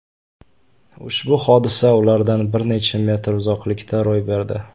Ushbu hodisa ulardan bir necha metr uzoqlikda ro‘y berdi.